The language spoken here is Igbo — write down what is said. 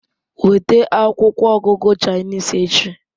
Weta akwụkwọ ọgụgụ Chinese echi